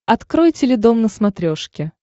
открой теледом на смотрешке